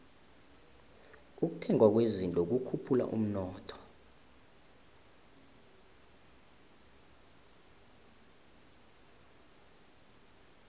ukuthengwa kwezinto kukhuphula umnotho